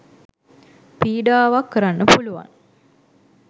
පීඩාවක් කරන්න පුළුවන්.